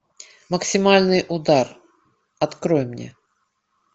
максимальный удар открой мне